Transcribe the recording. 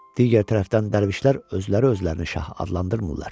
Digər tərəfdən dərvişlər özləri özlərini şah adlandırmırlar.